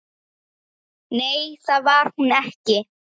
Nei, það var hún ekki.